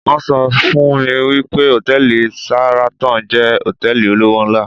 won so fun mi wi pe hòtẹ́ẹ̀lì Sahraton jẹ́ hotẹ́ẹ̀lì olówó ńlá